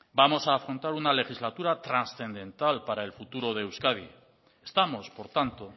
vamos a afrontar una legislatura transcendental para el futuro de euskadi estamos por tanto